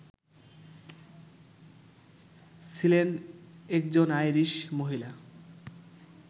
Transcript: ছিলেন একজন আইরিশ মহিলা